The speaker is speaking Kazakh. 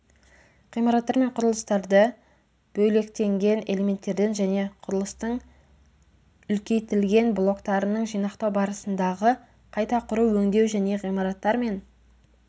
ғимараттар мен құрылыстарды бөлектенген элементтерден және құрылыстың үлкейтілген блоктарының жинақтау барысындағы қайта құру өңдеу және ғимараттар мен